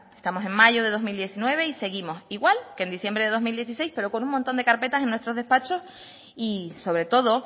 que estamos en mayo de dos mil diecinueve y seguimos igual que en diciembre de dos mil dieciséis pero con un montón de carpetas en nuestros despachos y sobre todo